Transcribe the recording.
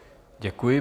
Děkuji.